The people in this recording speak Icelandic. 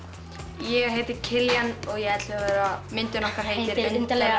ég heiti Kiljan og ég er ellefu ára myndin okkar heitir undarlega